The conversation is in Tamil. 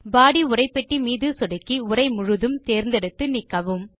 பாடி உரைப்பெட்டி மீது சொடுக்கி உரை முழுதும் தேர்ந்தெடுத்து நீக்கவும்